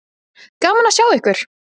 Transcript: Gaman að sjá ykkur.